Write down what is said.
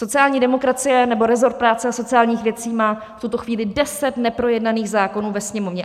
Sociální demokracie, nebo rezort práce a sociálních věcí má v tuto chvíli deset neprojednaných zákonů ve Sněmovně.